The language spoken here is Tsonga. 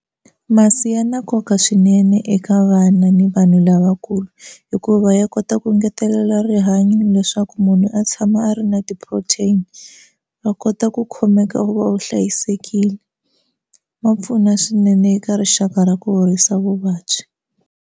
Masi ya na nkoka swinene eka vana ni vanhu lavakulu hikuva ya kota ku engetelela rihanyo leswaku munhu a tshama a ri na ti-protein va kota ku khomeka wu va wu hlayisekile ma pfuna swinene eka rixaka ra ku horisa vuvabyi.